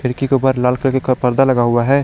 खिड़की के ऊपर लाल कलर का परदा लगा हुआ है।